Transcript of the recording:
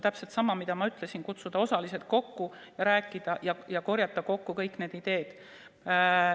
Täpselt sama, mida ma ütlesin: kutsuda osalised kohale ja rääkida, korjata kokku kõik need ideed.